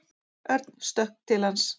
Örn stökk til hans.